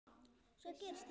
Svo gerist það svona.